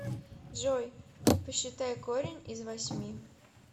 джой посчитай корень из восьми